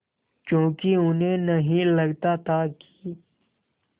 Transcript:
क्योंकि उन्हें नहीं लगता था कि